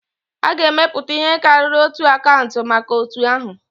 A ga-emepụta ihe karịrị otu akaụntụ maka otu ahu